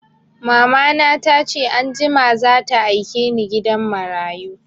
Mamana ta ce anjima za ta aike ni gidan marayu